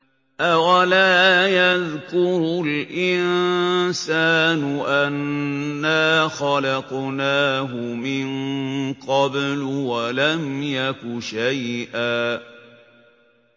أَوَلَا يَذْكُرُ الْإِنسَانُ أَنَّا خَلَقْنَاهُ مِن قَبْلُ وَلَمْ يَكُ شَيْئًا